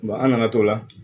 an nana to la